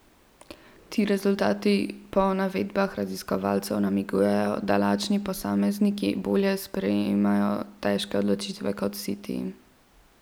Ti rezultati po navedbah raziskovalcev namigujejo, da lačni posamezniki bolje sprejemajo težke odločitve kot siti.